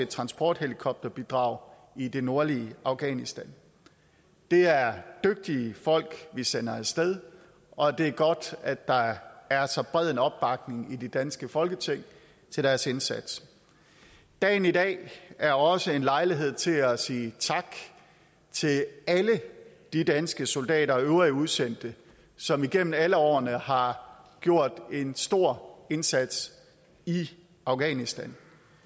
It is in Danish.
transporthelikopterbidrag i det nordlige afghanistan det er dygtige folk vi sender af sted og det er godt at der er er så bred en opbakning i det danske folketing til deres indsats dagen i dag er også en lejlighed til at sige tak til alle de danske soldater og øvrige udsendte som igennem alle årene har gjort en stor indsats i afghanistan